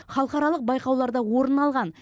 халықаралық байқауларда орын алған